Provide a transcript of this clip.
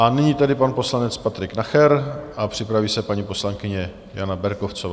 A nyní tedy pan poslanec Patrik Nacher a připraví se paní poslankyně Jana Berkovcová.